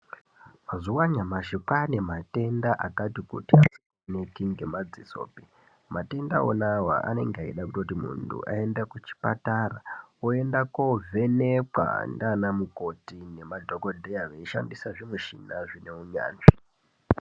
Mazuva anyamashi kwane matenda akati kuti asinga oneki nge madzisopi matenda wonawo anenga eida kuti muntu ayende ku chipatara oenda ko vhenekwa ndiana mukoti ne madhokodheya vei shandisa zvi mushina zvine unyanzvi.